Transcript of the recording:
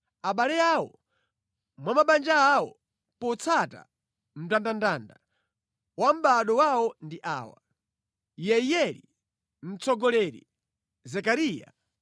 Abale awo mwa mabanja awo, potsata mndandanda wa mʼbado wawo, ndi awa: Yeiyeli, mtsogoleri, Zekariya,